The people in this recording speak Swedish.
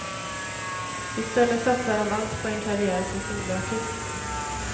I stället satsar han allt på en karriär som soloartist.